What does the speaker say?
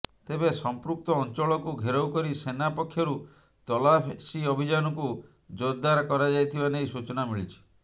ତେବେ ସମ୍ପୃକ୍ତ ଅଞ୍ଚଳକୁ ଘେରାଉ କରି ସେନା ପକ୍ଷରୁ ତଲାସି ଅଭିଯାନକୁ ଜୋରଦାର କରାଯାଇଥିବା ନେଇ ସୂଚନା ମିଳିଛି